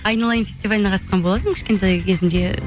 айналайын фестиваліне қатысқан болатынмын кішкентай кезімде